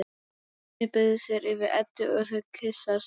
Hemmi beygir sig yfir Eddu og þau kyssast.